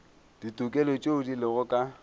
ditokelo tšeo di lego ka